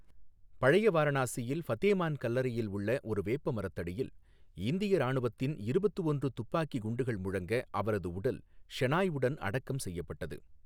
பழைய வாரணாசியில் ஃபதேமான் கல்லறையில் உள்ள ஒரு வேப்ப மரத்தடியில் இந்திய ராணுவத்தின் இருபத்து ஒன்று துப்பாக்கி குண்டுகள் முழங்க அவரது உடல் ஷெனாய் உடன் அடக்கம் செய்யப்பட்டது.